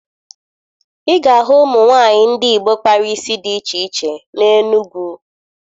Ị ga-ahụ ụmụ nwaanyị ndị Igbo kpara isi dị iche iche n'Enugwu